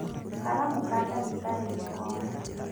Karamu ka ndagĩtarĩ nĩkora